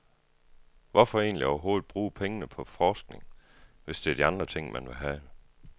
Hvorfor egentlig overhovedet bruge pengene på forskning, hvis det er de andre ting, man vil have.